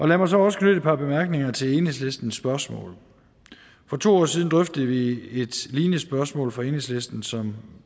lad mig så også knytte et par bemærkninger til enhedslistens spørgsmål for to år siden drøftede vi et lignende spørgsmål fra enhedslisten som